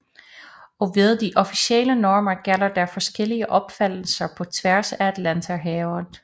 Og ved de officielle normer gælder der forskellige opfattelser på tværs af Atlanterhavet